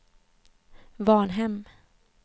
Varnhem